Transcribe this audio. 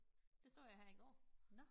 Det så jeg her i går